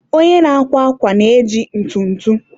onye na-akwa akwa na-eji ntụtụ.